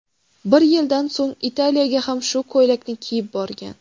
Bir yildan so‘ng Italiyaga ham shu ko‘ylakni kiyib borgan.